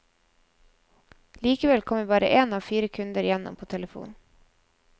Likevel kommer bare én av fire kunder igjennom på telefon.